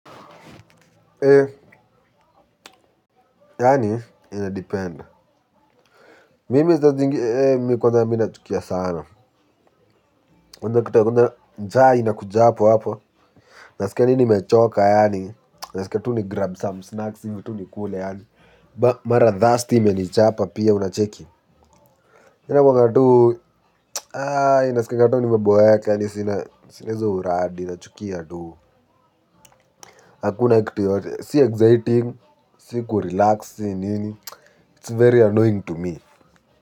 Yaani, inadeped. Mimi saa zingi mimi kwanza ya minachukia sana. Kwanza kitu ya kwanza, njaa inakuja hapo hapo. Naskia adi nimechoka yaani, naskia tu ni grab some snacks hivi tu nikule yaani. Mara thirst imenichapa pia unacheki. Yaani inakuanga tu naskianga tu nimeboeka yaani sina sina hizo uradi nachukia tu. Hakuna kitu yoyote, si exciting, si kurelax, si nini, it's very annoying to me.